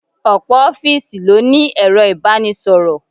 Ọ̀pọ̀ ofiisi ló ní ero ibanisoro.